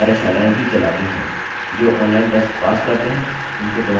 जो online test pass करते हैं उनको प्रमाणपत्र भी देते हैं